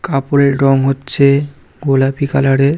কাপড়ের রং হচ্ছে গোলাপি কালার -এর।